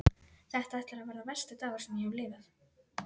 Þetta ætlar að verða versti dagur sem ég hef lifað.